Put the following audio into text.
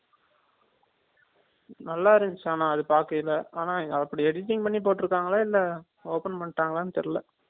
நல்லா இருந்துச்சு ஆனா அது பாக்கைல ஆனா அப்டி editing பண்ணி போட்டு இருக்காங்களா இல்ல open பண்ணிட்டாங்கள னு தெரியல